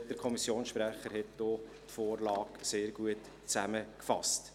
Der Kommissionssprecher hat die Vorlage sehr gut zusammengefasst.